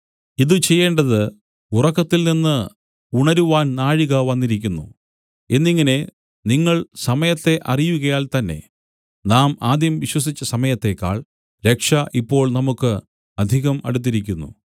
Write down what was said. ഇതു ചെയ്യേണ്ടത് ഉറക്കത്തിൽനിന്ന് ഉണരുവാൻ നാഴിക വന്നിരിക്കുന്നു എന്നിങ്ങനെ നിങ്ങൾ സമയത്തെ അറിയുകയാൽ തന്നേ നാം ആദ്യം വിശ്വസിച്ച സമയത്തേക്കാൾ രക്ഷ ഇപ്പോൾ നമുക്കു അധികം അടുത്തിരിക്കുന്നു